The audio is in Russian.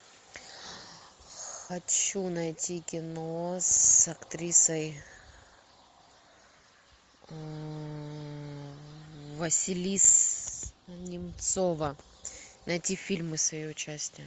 хочу найти кино с актрисой василиса немцова найти фильмы с ее участием